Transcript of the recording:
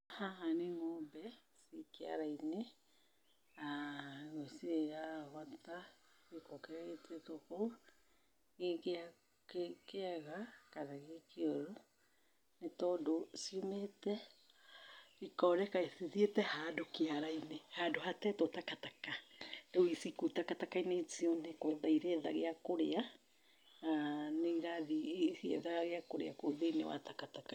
Haha nĩ ngombe ciĩ kĩara-inĩ cirarogota gĩko kĩrĩa gĩtetwo kou, gĩ kĩega kana gĩ kĩoru, ni tondũ ciumĩte ikoneka ithiĩte handũ kĩara-inĩ handũ hatetwo takataka, rĩu ciĩ kou takataka-inĩ icio nĩ gwetha iretha gĩa kũrĩa, na nĩ irathiĩ igĩethaga gĩa kũrĩa kũu thĩ-inĩ wa takataka.